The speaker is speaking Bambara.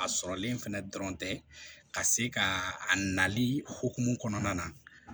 A sɔrɔlen fɛnɛ dɔrɔn tɛ ka se ka a nali hokumu kɔnɔna na